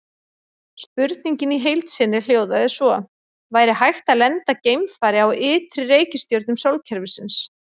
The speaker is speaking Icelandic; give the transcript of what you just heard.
Spurningin í heild sinni hljóðaði svo: Væri hægt að lenda geimfari á ytri reikistjörnum sólkerfisins?